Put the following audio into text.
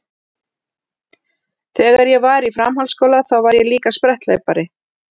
Þegar ég var í framhaldsskóla þá var ég líka spretthlaupari.